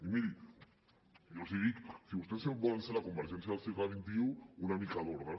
i miri jo els dic si vostès volen ser la convergència del segle xxi una mica d’ordre